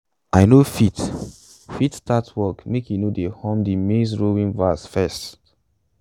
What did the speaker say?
i no fit fit start work makei no dey hum de maize-rowing verse first